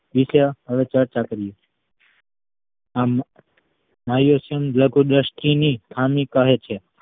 વિષે હવે ચર્ચા કરીશું આને સ્નાયુ લઘુ દ્રષ્ટિ ની ખામી કહે છે